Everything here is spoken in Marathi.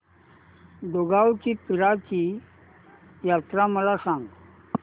दुगावची पीराची यात्रा मला सांग